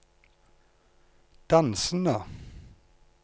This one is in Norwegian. dansende